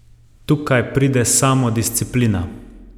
Tukaj pride samodisciplina.